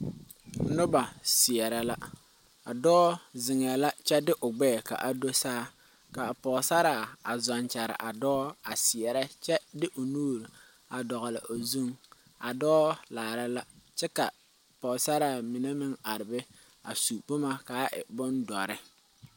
Nuba seɛra la a doɔ zengɛɛ kye de ɔ gbɛɛ kaa do saa kaa pɔgsaraa a zung kyaraa doɔ a seɛre kye de ɔ nuuri a dɔgli ɔ zung a doɔ laara la kye ka pɔgsaraa mene meng arẽ be a su buma kaa e bundɔri.